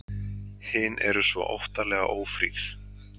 Hin eru svo óttalega ófríð.